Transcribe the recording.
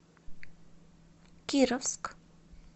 кировск